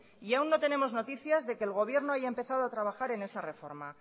y aún no tenemos noticia de que el gobierno haya empezado a trabajar en esa reforma